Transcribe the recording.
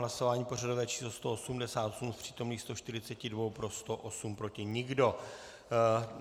Hlasování pořadové číslo 188, z přítomných 142 pro 108, proti nikdo.